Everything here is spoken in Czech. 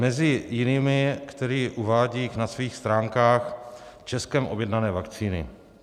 Mezi jinými, který uvádí na svých stránkách Českem objednané vakcíny.